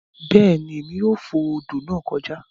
Beeni Emi yoo fo odo naa joka